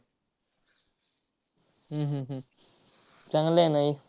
हम्म हम्म हम्म चांगलं आहे ना हे.